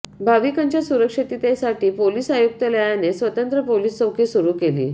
भाविकांच्या सुरक्षिततेसाठी पोलिस आयुक्तालयाने स्वतंत्र पोलिस चौकी सुरु केली